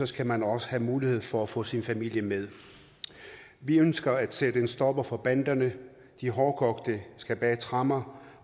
skal man også have mulighed for at få sin familie med vi ønsker at sætte en stopper for banderne de hårdkogte skal bag tremmer